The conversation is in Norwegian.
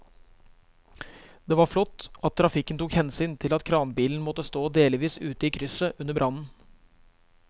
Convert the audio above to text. Det var flott at trafikken tok hensyn til at kranbilen måtte stå delvis ute i krysset under brannen.